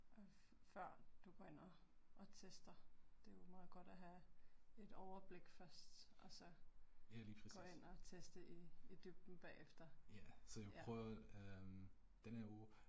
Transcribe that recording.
Før du går ind og og tester, det er jo meget godt at have et overblik først og så gå ind og teste i i dybden bagefter, ja